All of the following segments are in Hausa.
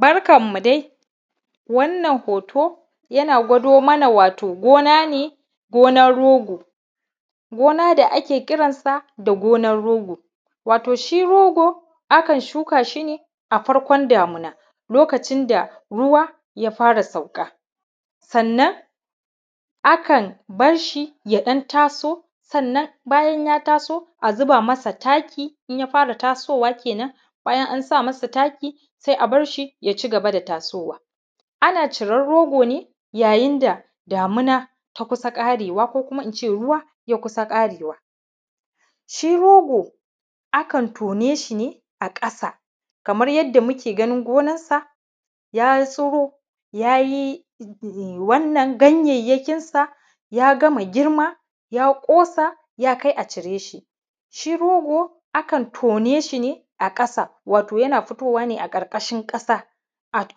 Barkanmu dai wannan hoto yana gwado mana wato gona ne da ake kira da gonar rogo Gina da ake kiransa da gonar rogo wato shi rogo aka Shuka shi ne a farkon damuna lokacin da ruwa ya fara sauka Sannan akan bar shi ya dan taso sannan bayan ya taso a zuba masa taki inya fara tasowa ana ciran rogo ne yayin da damuwa ta kusa karewa ko kuma in ce ruwa ya kusa ƙarewa. Shi rogo ana tone shi ne a ƙasa kamar yadda muke ganin gonarsa ya tsuro ya yi wannan ganyayyakinsa ya gama girma ya kosa ya kai a cire shi hi rogo akan tone shi ne a ƙasa wato yana fitowa ne a karkashin ƙasa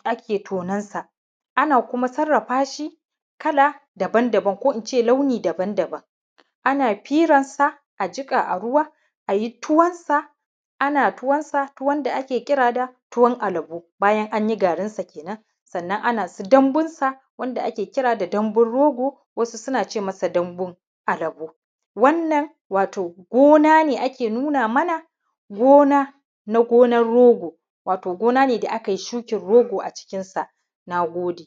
ake tonan sa ana kuma sarrafa shi kala daban daban ko in ce launi daban-daban. Ana firansa a jiƙa a ruwa a yi tuwansa. Ana tuwansa wanda ake kira da tuwon alabo bayan an yi garinsa kenan amnan dambunsa wanda ake kira da dambun rogo wasu suna ce masa dambun alabo. Wannan gona ne ake nuna mana gona na gonar rogo. Wato gona ne da aka yi shukan rogo a cikinsa. Na gode.